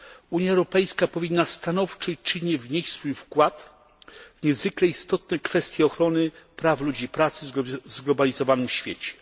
Unia Europejska powinna stanowczo i czynnie wnieść swój wkład w niezwykle istotne kwestie ochrony praw ludzi pracy w zglobalizowanym świecie.